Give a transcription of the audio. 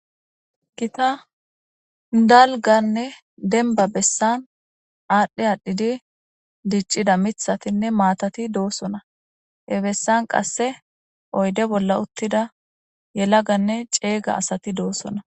Gita dalganne denba bessan aadhdhe aadhdhidi diccida mithatinne maatati doosona hebessan qasse oyde bolla uttida yelaganne ceeyga asati doossona.